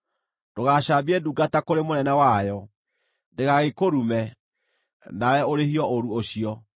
“Ndũgacambie ndungata kũrĩ mũnene wayo, ndĩgagĩkũrume, nawe ũrĩhio ũũru ũcio.